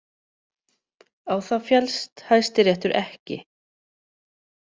Á það féllst Hæstiréttur ekki